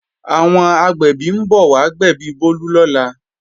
Àwọn agbẹ̀bí ń bọ̀ wá gbẹ̀bí Bólú lọ́la